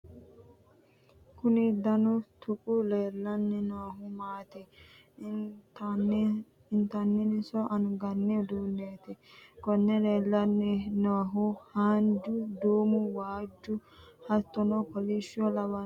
kuni danu tuqu leellanni noohu maati intanninso anganni uduunneeti? konne leellanni noohu haanju, duumu waajju hattono kolishsho lawannohu maati ?